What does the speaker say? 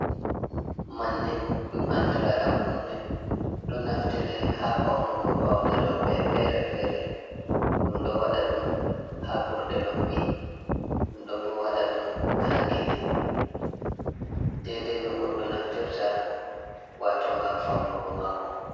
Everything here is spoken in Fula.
Manne dum andira dam kunne. Ɗo naftira ha faunugo paune rewbe fere-fere ɗum ɗo wada dum ha burɗe noppi ɗum ɗobo wada dum ha kine dedai nogoɗɗo naftirta wato gam faunugo mako.